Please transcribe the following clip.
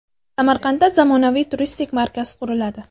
Samarqandda zamonaviy turistik markaz quriladi.